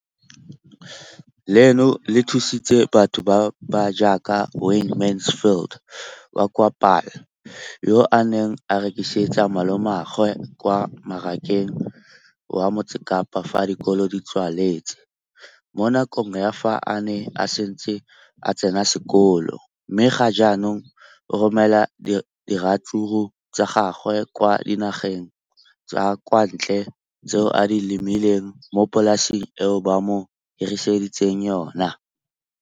leno le thusitse batho ba ba jaaka Wayne Mansfield, 33, wa kwa Paarl, yo a neng a rekisetsa malomagwe kwa Marakeng wa Motsekapa fa dikolo di tswaletse, mo nakong ya fa a ne a santse a tsena sekolo, mme ga jaanong o romela diratsuru tsa gagwe kwa dinageng tsa kwa ntle tseo a di lemileng mo polaseng eo ba mo hiriseditseng yona.